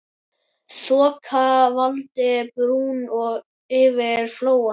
Þoka faldi brúna yfir Flóann.